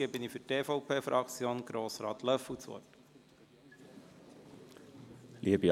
Für die EVP-Fraktion hat Grossrat Löffel das Wort.